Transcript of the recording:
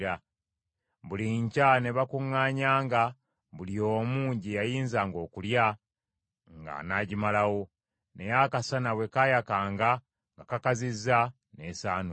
Buli nkya ne bakuŋŋaanyanga buli omu gye yayinzanga okulya nga anaagimalawo; naye akasana bwe kaayakanga nga kakazizza, n’esaanuuka.